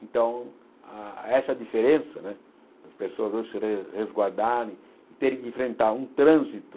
Então, ah essa diferença né, as pessoas não se res resguardarem e terem que enfrentar um trânsito